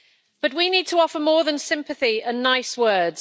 But we need to offer more than sympathy and nice words.